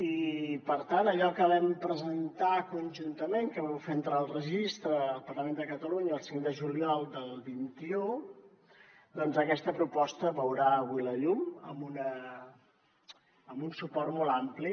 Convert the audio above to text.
i per tant allò que vam presentar conjuntament que vau fer entrar al registre al parlament de catalunya el cinc de juliol del vint un doncs aquesta proposta veurà avui la llum amb un suport molt ampli